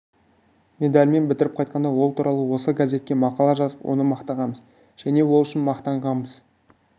медальмен бітіріп қайтқанда ол туралы осы газетке мақала жазып оны мақтағанбыз және ол үшін мақтанғанбыз